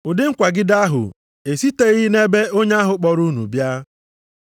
Ụdị nkwagide ahụ esiteghị nʼebe Onye ahụ kpọrọ unu bịa.